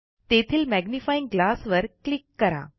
तेथील magnifying glass वर click करा